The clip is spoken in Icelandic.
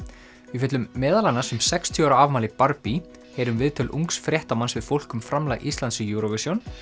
við fjöllum meðal annars um sextíu ára afmæli heyrum viðtöl ungs fréttamanns við fólk um framlag Íslands í Eurovision